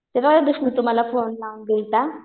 मला फोन लावून दिलता.